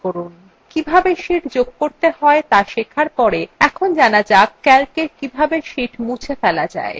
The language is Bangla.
কিভাবে sheets যোগ করতে হয় ত়া শেখার পর এখন জানা যাক calcwe কিভাবে sheets মুছে ফেলা যায়